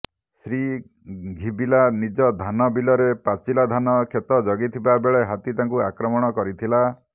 ଶ୍ରୀ ଘିବିଲା ନିଜ ଧାନ ବିଲରେ ପାଚିଲା ଧାନ କ୍ଷେତ ଜଗିଥିବା ବେଳେ ହାତୀ ତାଙ୍କୁ ଆକ୍ରମଣ କରିଥିଲା